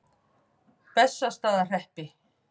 Bessastaðahreppi